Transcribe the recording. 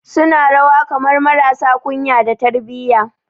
Suna rawa kamar marasa kunya da tarbiyya